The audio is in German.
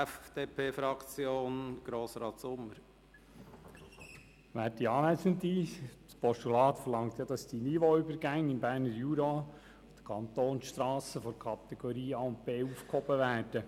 Das Postulat verlangt, dass die Niveauübergänge im Berner Jura auf Kantonsstrassen der Kategorie A und B aufgehoben werden.